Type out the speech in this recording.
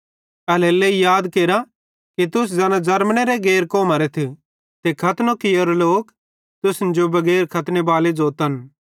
एल्हेरेलेइ याद केरा कि तुस ज़ैना ज़रमनेरे गैर कौमरेथ ते खतनो कियो लोक तुसन जो बगैर खतने बाले ज़ोतन